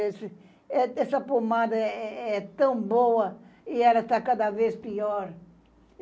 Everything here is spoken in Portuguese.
Essa pomada é é tão boa e ela tá cada vez pior.